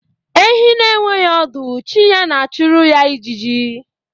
Ehi na-enweghị ọdụ chi ya na- achụrụ ya ịjiji